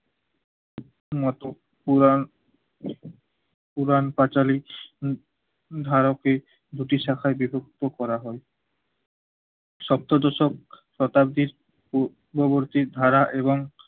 নট-পুরাণ পুরাণ পাঁচালী ধারকে দুটি শাখায় বিভক্ত করা হয়। সপ্ত দশক শতাব্দীর ও ববুর্চিক ধারা এবং